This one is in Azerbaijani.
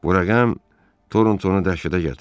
Bu rəqəm Torontonu dəhşətə gətirdi.